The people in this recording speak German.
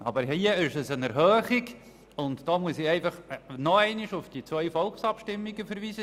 Aber hier handelt es sich um eine Erhöhung, und da muss ich einfach nochmals auf die beiden Volksabstimmungen verweisen.